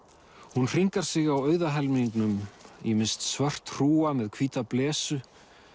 hún hringar sig á auða helmingnum ýmist svört hrúga með hvíta blesu